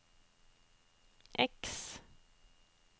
X